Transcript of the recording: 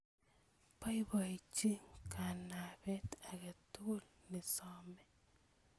Boiboji kanabet age tugul ne some